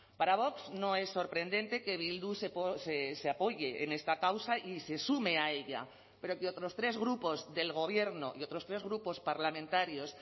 para vox no es sorprendente que bildu se apoye en esta causa y se sume a ella pero que otros tres grupos del gobierno y otros tres grupos parlamentarios